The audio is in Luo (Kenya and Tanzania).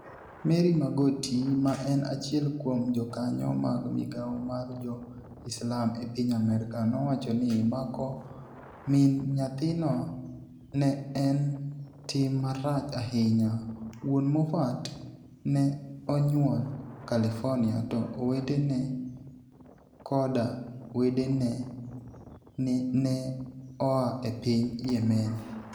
Mary Mogati, ma eni achiel kuom jokaniyo mag migao mar Jo-Islam e piniy Amerka, nowacho nii mako mini niyathino ni e eni 'tim marach ahiniya' Wuoni Mofat ni e oniyuol Californiia, to oweteni e koda wedeni e ni e oa e piniy Yemeni.